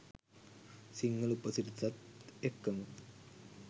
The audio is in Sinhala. සිංහල උපසිරැසිත් එක්කම.